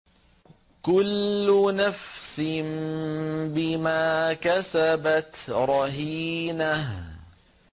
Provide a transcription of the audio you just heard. كُلُّ نَفْسٍ بِمَا كَسَبَتْ رَهِينَةٌ